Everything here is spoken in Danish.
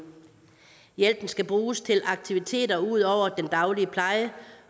hjælpen skal bruges til aktiviteter ud over den daglige pleje